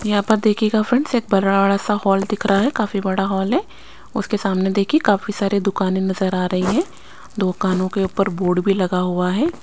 यहाँ पर देखिएगा फ्रेंड्स एक बराड़ सा हॉल दिख रहा है काफी बड़ा हॉल है उसके सामने देखिये काफी सारे दुकानें नजर आ रही हैं दुकानो के ऊपर बोर्ड भी लगा हुआ है--